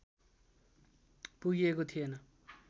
पुगिएको थिएन